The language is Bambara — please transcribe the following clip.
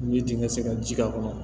Ni dingɛn sera ji k'a kɔnɔ